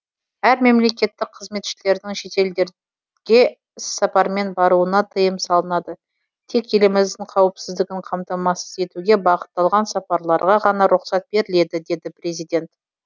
әр мемлекеттік қызметшілердің шетелдерге іссапармен баруына тыйым салынады тек еліміздің қауіпсіздігін қамтамасыз етуге бағытталған сапарларға ғана рұқсат беріледі деді президент